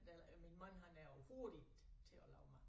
Øh min mand han er overhovedet ikke til at lave mad